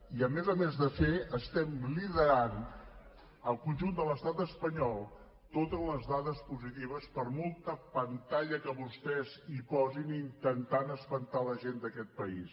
i a més a més de fer estem liderant al conjunt de l’estat espanyol totes les dades positives per molta pantalla que vostès hi posin intentant espantar la gent d’aquest país